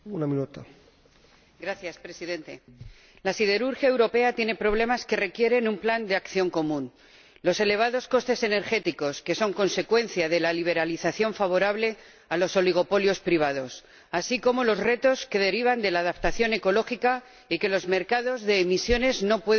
Señor Presidente, la siderurgia europea tiene problemas que requieren un plan de acción común los elevados costes energéticos, que son consecuencia de la liberalización favorable a los oligopolios privados, así como los retos que derivan de la adaptación ecológica y que los mercados de emisiones no pueden resolver.